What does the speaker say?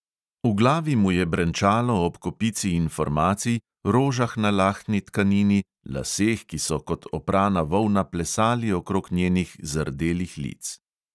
V glavi mu je brenčalo ob kopici informacij, rožah na lahni tkanini, laseh, ki so kot oprana volna plesali okrog njenih zardelih lic.